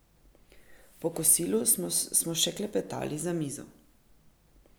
Po kosilu smo še klepetali za mizo.